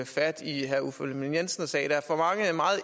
fat i herre uffe ellemann jensen og sagde der er for meget